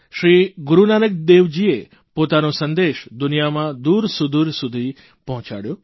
શ્રી ગુરૂ નાનકદેવજીએ પોતાનો સંદેશ દુનિયામાં દૂરસૂદુર સુધી પહોંચાડ્યો